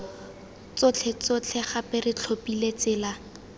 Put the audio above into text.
tsotlhetsotlhe gape re tlhophile tsela